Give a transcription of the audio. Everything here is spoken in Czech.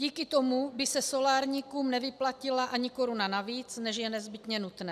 Díky tomu by se solárníkům nevyplatila ani koruna navíc, než je nezbytně nutné.